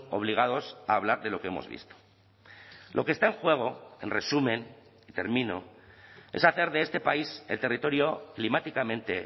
obligados a hablar de lo que hemos visto lo que está en juego en resumen termino es hacer de este país el territorio climáticamente